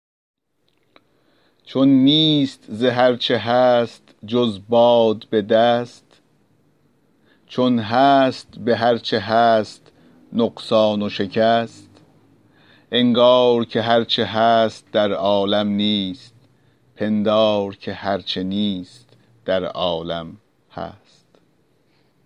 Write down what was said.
چون نیست ز هر چه هست جز باد به دست چون هست به هر چه هست نقصان و شکست انگار که هر چه هست در عالم نیست پندار که هر چه نیست در عالم هست